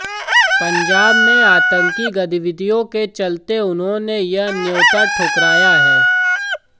पंजाब में आतंकी गतिविधियों के चलते उन्होंने यह न्यौता ठुकराया है